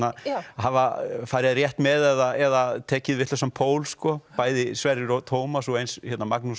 hafa farið rétt með eða tekið vitlausan pól bæði Sverrir og Tómas og eins Magnús